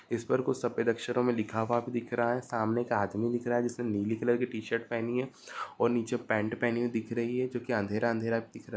इस पर कुछ सफेद अक्षरों में लिखा हुआ दिख रहा है सामने एक आदमी दिख रहा है जिसने नीले कलर की टी-शर्ट पहनी है और नीचे पेंट पहनी हुई दिख रही है जो की अँधेरा अँधेरा दिख रहा --